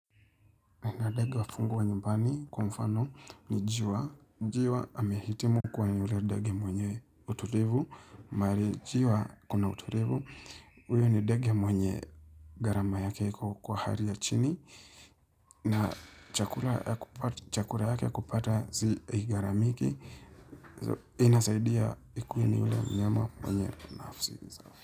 Nina daga wa fungua nyumbani, kwa mfano ni juwa. Njiwa amehitimu kwenye ule ndege mwenye utulivu. Mahali njiwa kuna uturivu. Huyu ni ndege mwenye gharama yake iko kwa hali ya chini. Na chakura ya kupa chakura yake ya kupata si haigharamiki. Inasaidia ikue ni ule mnyama mwenye nafsi.